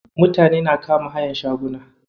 Mutane na kama hayan shaguna.